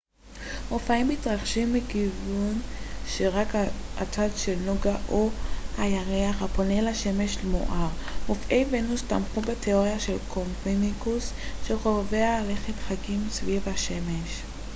מופעים מתרחשים מכיוון שרק הצד של נוגה או של הירח הפונה לשמש מואר. מופעי ונוס תמכו בתיאוריה של קופרניקוס שכוכבי הלכת חגים סביב השמש